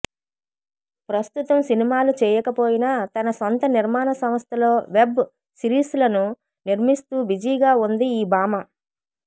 ప్రస్తుతం సినిమాలు చేయకపోయినా తన సొంత నిర్మాణ సంస్థలో వెబ్ సిరీస్లను నిర్మిస్తూ బిజీగా ఉంది ఈ భామ